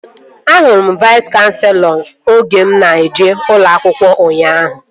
Ahụrụ m Vais kanselọ oge mụ na-eje ụlọ akwụkwọ ụnyaahụ